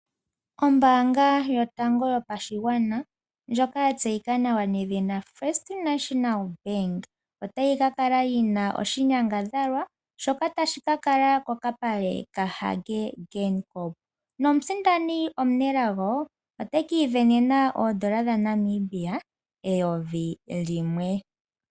Ombanga yotango yopashigwana ndjoka yatseyika nawa nedhina first national bank otayi ka kala yina oshinyangadhalwa tashi ka kala ko kapale kaHage Geingob nomusindani omunelago otekiivenena oodola dhaNamibia eyovi limwe.